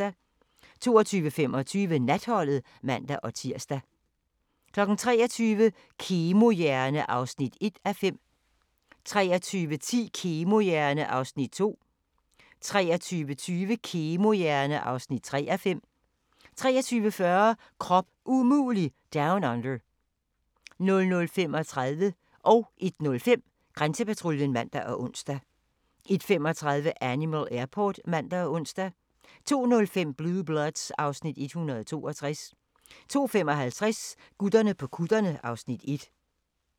22:25: Natholdet (man-tir) 23:00: Kemohjerne (1:5) 23:10: Kemohjerne (2:5) 23:20: Kemohjerne (3:5) 23:40: Krop umulig Down Under 00:35: Grænsepatruljen (man og ons) 01:05: Grænsepatruljen (man og ons) 01:35: Animal Airport (man og ons) 02:05: Blue Bloods (Afs. 162) 02:55: Gutterne på kutterne (Afs. 1)